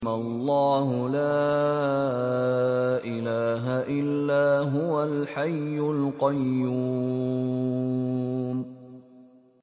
اللَّهُ لَا إِلَٰهَ إِلَّا هُوَ الْحَيُّ الْقَيُّومُ